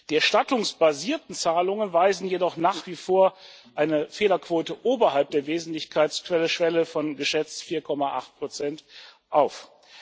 Die erstattungsbasierten Zahlungen weisen jedoch nach wie vor eine Fehlerquote oberhalb der Wesentlichkeitsschwelle von geschätzt 4,8 auf.